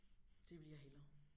Det vil jeg hellere